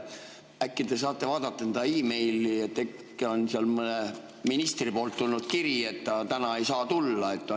Äkki te saate vaadata enda e-mail'e, et äkki on teile mõnelt ministrilt tulnud kiri, et ta täna ei saa tulla?